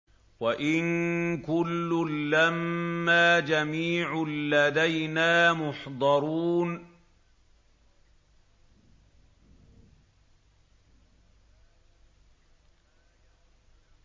وَإِن كُلٌّ لَّمَّا جَمِيعٌ لَّدَيْنَا مُحْضَرُونَ